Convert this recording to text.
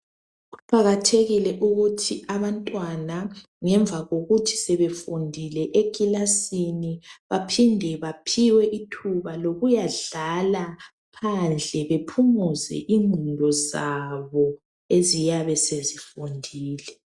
Kuqakathekile ukuthi abantwana ngemva kokuthi sebefundile ekilasini baphiwe ithuba lokuyadlala phandle bephumuze ingqondo zabo eziyabe sezifundile.